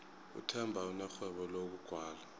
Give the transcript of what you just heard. uthemba unerhwebo lokugwala